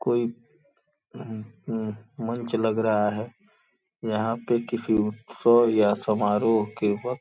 कोई अ म म मंच लग रहा है। यहाँ पे किसी उत्सव या समारोह के वक्त --.